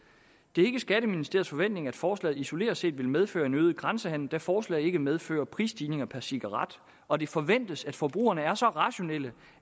det er ikke skatteministeriets forventning at forslaget isoleret set vil medføre en øget grænsehandel da forslaget ikke medfører prisstigninger per cigaret og det forventes at forbrugerne er så rationelle